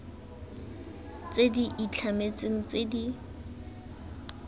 tse di itlhametsweng tse di